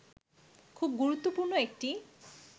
খুব গুরুত্বপূর্ণ একটি